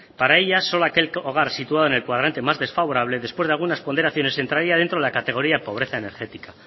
para ella solo aquel hogar situado en el cuadrante más desfavorable después de algunas ponderaciones entraría dentro de la categoría de pobreza energética